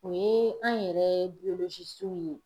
O ye an yɛrɛ biyolozisiw ye